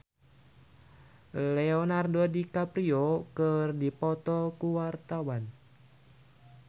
Latief Sitepu jeung Leonardo DiCaprio keur dipoto ku wartawan